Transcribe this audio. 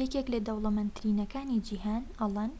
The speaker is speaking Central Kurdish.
یەکێك لە دەولەمەندترینەکانی جیهان ئەڵەن